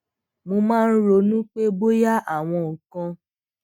mo máa ń ronú pé bóyá àwọn nǹkan